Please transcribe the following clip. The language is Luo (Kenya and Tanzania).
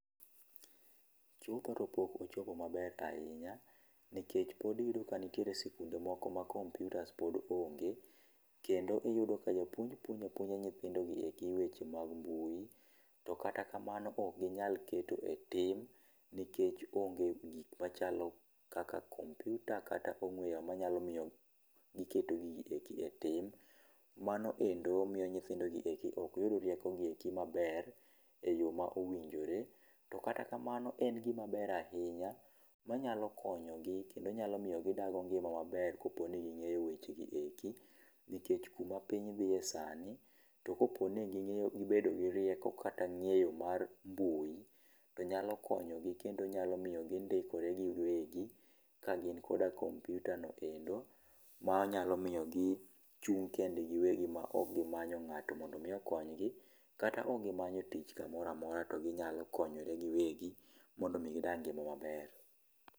Chopo to pok ochopo ma ber ahinya nikech pod iyudo ka nitie skunde moko ma computers pod onge kendo iyudo ka jopuonj puonjo a puonja nyithindo gi weche mag mbui to kata kamano ok gi nyal keto e tim, nikech onge gik machalo computer kata ong'we yamo ma nya miyo gi keto gi e tim mano endo miyo nyithindo gi endi ok yud rieko gi eki manber e yo ma owinjore ,to kataa kamano en gi maber ahinya. ma nyalo konyo gi kendo nya miyo gi dak maber ka poni gi ng'eyo weche gi eki nikech ku ma piny dhiye sani to ka po ni gi bedo gi rieko kata ng'eyo mar mbui nyalo konyo gi kendo nyalo miyo gi ndikore gi wegi ka gin koda kompyuta ma nya miyo gi chung kendgi gi wegi ma ok manyo ng'ato mondo mi okony gi kata ka ok gi manyo tich ka moro amora to gi nyalo konyore gi wegi mondo gi dak ngima maber.